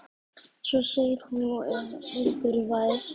Svo segir hún og er angurvær